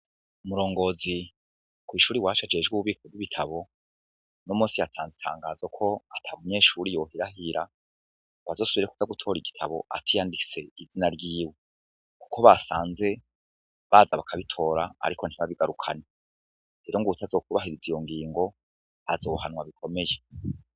Umurongozi kwishure iwacu ajejwe ububiko bwibitabu uno munsi yatanze itangazo ko ntamunyeshure yohirahira ngo azosubre gutora igitabu atiyanditse izina ryiwe kuko basanze baza bakabitora ariko ntibabigarukane rero ngo uwutazokwubahiriza iyo ngingo azohanwa bikomeye.